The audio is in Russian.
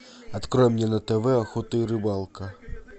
открой мне на тв охота и рыбалка